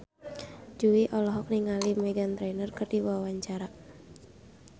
Jui olohok ningali Meghan Trainor keur diwawancara